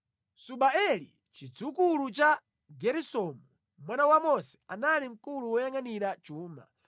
Subaeli, chidzukulu cha Geresomu, mwana wa Mose, anali mkulu woyangʼanira chuma.